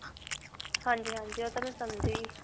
ਹਾਂਜੀ. ਹਾਂਜੀ ਓਹ ਤਾਂ ਮੈਂ ਸਮਝ ਗਈ.